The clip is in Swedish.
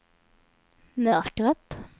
mörkret